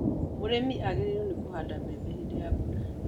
Mũrĩmi agĩrĩirũo nĩ kũhanda mbembe hĩndĩ ya mbura